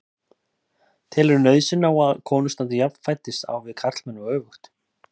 Telurðu nauðsyn á að konur standi jafnfætis á við karlmenn og öfugt?